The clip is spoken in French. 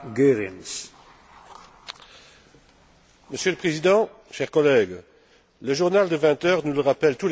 Monsieur le Président, chers collègues, le journal de 20 heures nous le rappelle tous les soirs, la souffrance en Haïti n'a pas de nom.